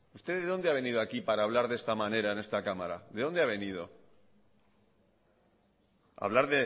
usted de dónde ha venido aquí para hablar de esta manera en esta cámara de dónde ha venido hablar